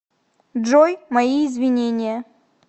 джой мои извинения